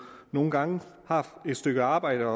nogle gange har et stykke arbejde